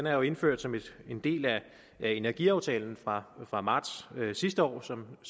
er indført som en del af energiaftalen fra fra marts sidste år som